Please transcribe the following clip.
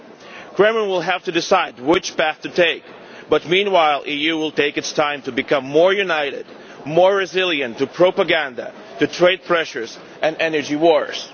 The Kremlin will have to decide which path to take, but the EU will take its time to become more united, more resilient to propaganda, to trade pressures and energy